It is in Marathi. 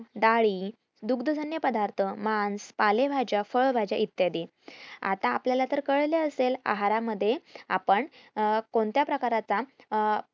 दुग्धजन्य पदार्थ, मांस, पालेभाज्या, फळभाज्या इत्यादी आता आपल्याला तर कळलं असेल आहार मध्ये आपल्यलाला कोणत्या प्रकारचा अं